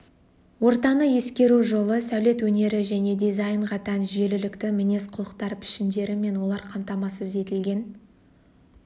ортаны ескеру жолы сәулет өнері және дизайнға тән жүйелілікті мінез құлықтар пішіндері мен олар қамтамасыз етілген